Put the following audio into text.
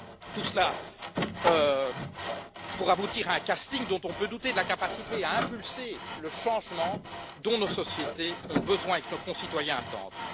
Tout cela pour aboutir à un casting dont on peut douter de la capacité à impulser le changement dont nos sociétés ont besoin et que nos concitoyens attendent.